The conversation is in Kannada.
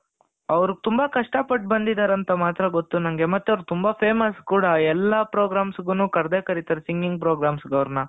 ಅವರು ತುಂಬಾ ಕಷ್ಟಪಟ್ಟು ಬಂದಿದ್ದಾರೆ ಅಂತ ಮಾತ್ರ ಗೊತ್ತು ನನಗೆ ಮತ್ತೆ ಅವರು ತುಂಬಾ famous ಕೂಡ ಎಲ್ಲಾ programs ಗೂನು ಕರ್ದೇ ಕರೀತಾರೆ singing programs ಗೆ ಅವರನ,